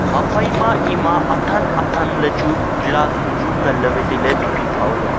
haphai ma ema athan athan ley chu glass bu chu ngan ley tai ley pih pih pha o ley a.